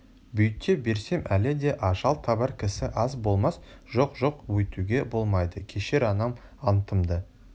бүйте берсем әлі де ажал табар кісі аз болмас жоқ жоқ өйтуге болмайды кешір анам антымды